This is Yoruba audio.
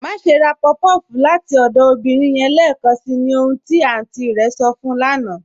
Máṣè rá puff-puff láti ọdọ obìnrin yẹn lẹẹkànṣí, ní ohun tí àntí rẹ̀ sọ̀ fún ù lána"